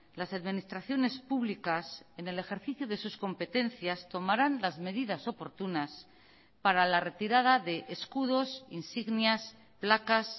las administraciones públicas en el ejercicio de sus competencias tomarán las medidas oportunas para la retirada de escudos insignias placas